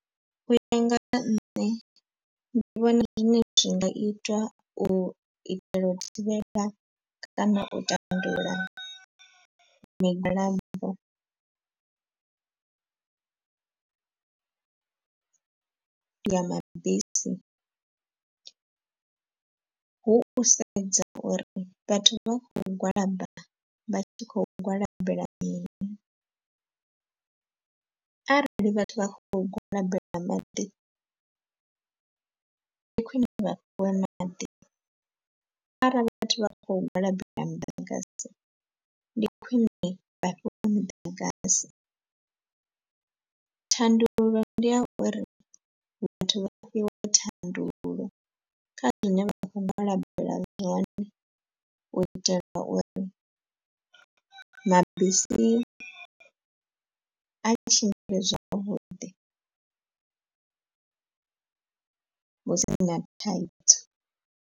U ya nga ha nṋe ndi vhona zwine zwi nga itwa u itela u thivhela kana u tandulula migwalabo ya mabisi hu u sedza uri vhathu vha khou gwalaba vha tshi khou gwalabela mini. Arali vhathu vha kho gwalabela maḓi ndi khwine vha fhiwe maḓi. Arali vhathu vha kho gwalabelwa muḓagasi ndi khwine vha fhiwe muḓagasi. Thandululo ndi ya uri vhathu vha fhiwe thandululo kha zwine vha khou gwalabela zwone u itela uri mabisi a tshimbile zwavhuḓi hu si na thaidzo.